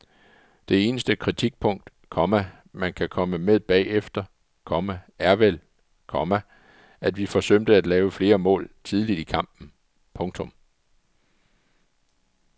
Det eneste kritikpunkt, komma man kan komme med bagefter, komma er vel, komma at vi forsømte at lave flere mål tidligt i kampen. punktum